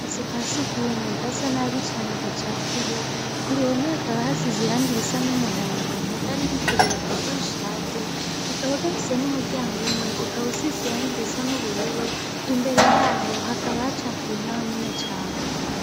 Akazu ka sugumwe gasa nabi cane gacafuye, ku ruhome hakaba hasize irangi risa n'umuhondo mugabo ririko riravako rishaje kakaba gafise n'umuryango umwe ukaba usize irangi risa n'ubururu imbere yaho hakaba hacafuye naho nyene cane.